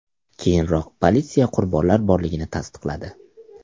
Keyinroq politsiya qurbonlar borligini tasdiqladi .